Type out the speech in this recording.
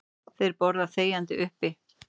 Þeir borða þegjandi uppi.